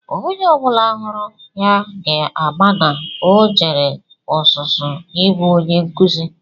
Onye ọ bụla hụrụ ya ga-ama na o jere ọzụzụ ịbụ Onye nkụzi